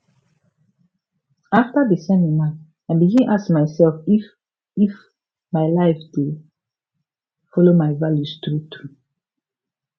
after di seminar i begin ask myself if if my life dey follow my values truetrue